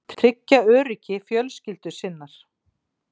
Tryggja öryggi fjölskyldu sinnar.